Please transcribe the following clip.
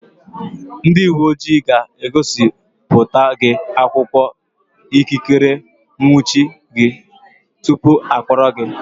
Ndị uwe ojii ga-egosipụta gị akwụkwọ ikikere ịnwụchi gị tupu ha akpọrọ gị.